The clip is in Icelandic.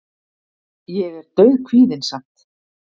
Ég er dauðkvíðinn samt.